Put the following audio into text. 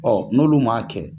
n'olu m'a kɛ